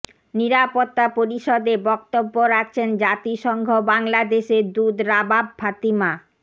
নিরাপত্তা পরিষদে বক্তব্য রাখছেন জাতিসংঘ বাংলাদেশের দূত রাবাব ফাতিমা